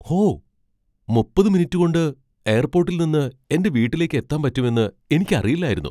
ഹോ! മുപ്പത് മിനിറ്റു കൊണ്ട് എയർപോട്ടിൽ നിന്ന് എന്റെ വീട്ടിലേക്ക് എത്താൻ പറ്റുമെന്ന് എനിക്കറിയില്ലായിരുന്നു.